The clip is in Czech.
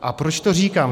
A proč to říkám?